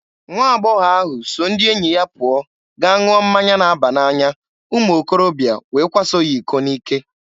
Nwa agbọghọ ahụ so ndị enyi ya pụọ gaa ṅụọ mmanya na-aba n'anya, umuokorobịa wee kwaso ya iko n'ike.